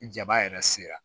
Ni jaba yɛrɛ sera